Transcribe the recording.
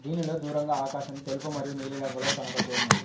దీనిలో దూరంగా ఆకాశం తెలుపు మరియు నీలిరంగులో కనబడుతూ ఉన్నది.